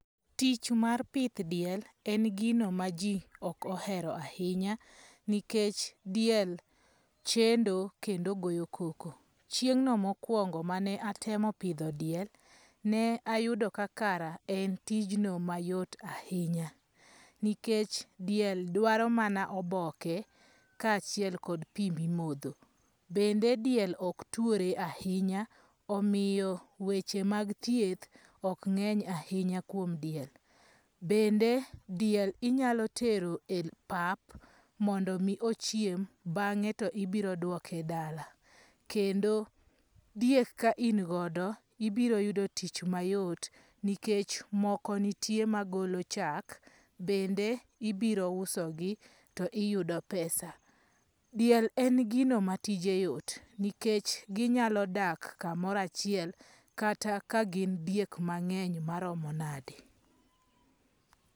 Tich mar pith diel en gino ma jii ok ohero ahinya nikech diel chendo kendo goyo koko. Chieng' no mokwongo mane atemo pidho diel, ne ayudo ka kara en tijno mayot ahinya nikech diel dwaro mana oboke kaachiel kod pii mimodho. Bende diel ok tuore ahinya omiyo weche mag thieth ok ng'eny ahinya kuom diel. Bende diel inyalo tero pap mondo mi ochiem bang'e to ibiro duoke dala. Kendo diek ka in godo ibiro yudo tich mayot nikech moko ntie magolo chak bende ibiro uso gi to iyudo pesa. Diel en gino ma tije yot nikech ginyalo dak kamora chiel kata ka gin diek mang'eny maromo nade.